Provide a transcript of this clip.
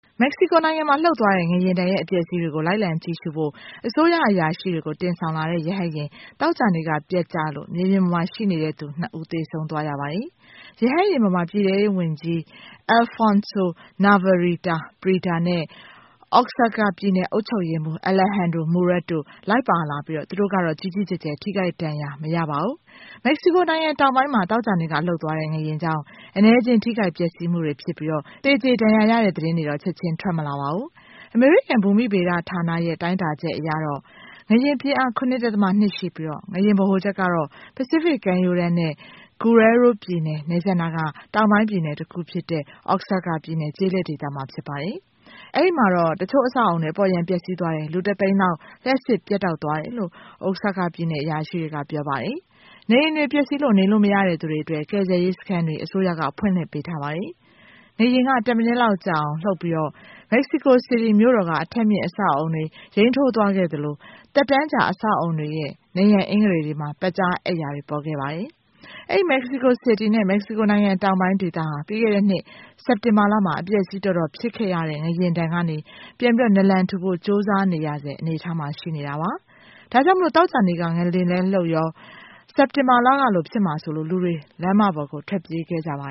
မက္ကဆီကိုနိုင်ငံမှာ လှုပ်သွားတဲ့ ငလျှင်ဒဏ်ရဲ့ အပျက်အဆီးတွေကို လိုက်လံကြည့်ရှုဖို့ အစိုးရရှိတွေကို တင်ဆောင်လာတဲ့ ရဟတ်ယာဉ် သောကြာနေ့က ပျက်ကျလို့ မြေပြင်ပေါ်မှာ ရှိနေသူ ၂ ဦး သေဆုံးသွားရတယ်။ ရဟတ်ယာဉ်ပေါ်မှာ ပြည်ထဲရေးဝန်ကြီး Alfonso Navarrete Prida နဲ့ Oaxaca ပြည်နယ်အုပ်ချုပ်ရေးမှူး Alejandro Murat တို့ လိုက်ပါထားပြီး သူတို့ကတော့ ကြီးကြီးကျယ်ကျယ် ထိခိုက်ဒဏ်ရာမရပါဘူး။ မက္ကဆီကိုင်ငံတောင်ပိုင်းမှာ သောကြာနေ့က လှုပ်သွားတဲ့ ငလျှင်ကြောင့် အနည်းအကျဉ်းထိခိုက် ပျက်ဆီးမှုဖြစ်ပြီး သေကြေဒဏ်ရာရတဲ့ သတင်းတွေတော့ ချက်ချင်းထွက်မလာပါဘူး။ အမေရိကန်ဘူမိဗေဒဌာနရဲ့ တိုင်းတာချက်အရ ငလျှင်ပြင်းအား ၇.၂ ရှိပြီး ငလျှင်ဗဟိုချက်က ပိစိဖိတ်ကမ်းရိုးတန်းနဲ့ Guerrero ပြည်နယ် နယ်စပ်နားက တောင်ပိုင်းပြည်နယ်တခုဖြစ်တဲ့Oaxaca ပြည်နယ် ကျေးလက်ဒေသမှာ ဖြစ်ပါတယ်။ အဲဒီမှာ တချို့အဆောက်အဦးတွေ အပေါ်ယံပျက်ဆီးသွားတယ် လူတသိန်းလောက်အတွက် လျှပ်စစ်ပြတ်တောက်သွားတယ်လို့ Oaxaca ပြည်နယ် အရာရှိတွေက ပြောပါတယ်။ နေအိမ်တွေ ပျက်စီးလို့ နေလို့မရသူတွေအတွက် ကယ်ဆယ်ရေးစခန်းတွေ အစိုးရက ဖွင့်လှစ်ပေးထားပါတယ်။ ငလျှင်က တမိနစ်ကြာလောက်လှုပ်ပြီး Mexico City မြို့တော်က အထပ်မြင့်အဆောက်အဦးတွေ ယိမ်းထိုးသွားခဲ့သလို သက်တမ်းကြာ အဆောက်အဦးတွေရဲ့ နံရံအင်္ဂတွေတွေမှာ ပက်ကြားအက်ရာတွေ ပေါ်ခဲ့ပါတယ်။ အဲဒီ Mexico City နဲ့ Mexico နိုင်ငံတောင်ပိုင်းဒေသဟာ ပြီးခဲ့တဲ့နှစ် စက်တင်ဘာမှာ အပျက်အစီး တော်တော်ဖြစ်ခဲ့ရတဲ့ ငလျှင်ဒဏ်ကနေပြန်နလံထူဖို့ ကြိုးစားနေရဆဲ အနေအထားမှာ ရှိတာပါ။ ဒါ့ကြောင့် သောကြာနေ့က ငလျှင်လည်းလှုပ်ရော စက်တင်ဘာကလို ဖြစ်မှာစိုးလို့ လူတွေ လမ်းပေါ်ကို ထွက်ပြေးခဲ့ကြပါ